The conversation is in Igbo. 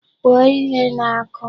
Kwuo ihe na-akụ!